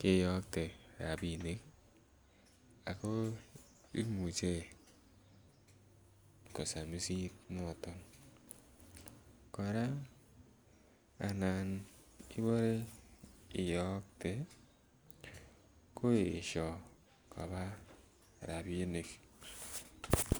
keyokte rabinik ako imuche kosamisit noton kora anan Ibore iyokte koesio koba rabinik